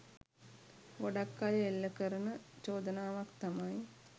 ගොඩක් අය එල්ල කරන චෝදනාවක් තමයි